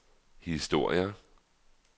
historier